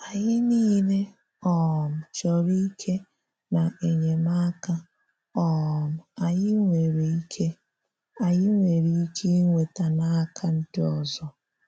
Anyị niile um chọrọ ike na enyemaka um anyị nwere ike anyị nwere ike inweta n’aka ndị ọzọ.